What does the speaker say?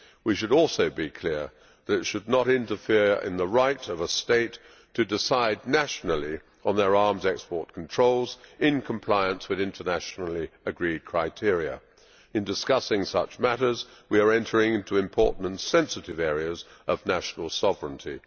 We should also be clear that it should not interfere in the right of a state to decide nationally on its arms export controls in compliance with internationally agreed criteria. In discussing such matters, we are entering into important and sensitive areas of national sovereignty.